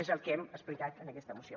és el que hem explicat en aquesta moció